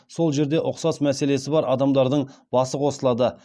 сол жерде ұқсас мәселесі бар адамдардың басы қосылады